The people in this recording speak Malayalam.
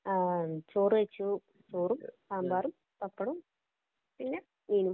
ആ ചോറ് കഴിച്ചു. ചോറും, സാമ്പാറും, പപ്പടവും, പിന്നെ മീനും.